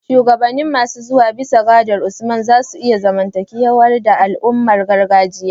Shugabanni masu zuwa, bisa gadar Usman, za su iya zamanantar da al'adun gargajiya